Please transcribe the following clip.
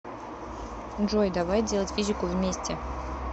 джой давай делать физику вместе